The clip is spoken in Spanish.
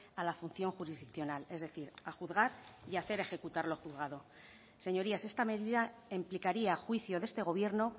a la función jurisdiccional es decir a juzgar y hacer ejecutar lo juzgado señorías esta medida implicaría a juicio de este gobierno